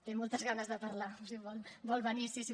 té moltes ganes de parlar vol venir sí sí